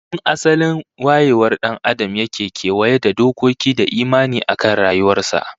Tun asalin wayewar dan Adam yake kewaye da dokoki da imani akan rayuwar sa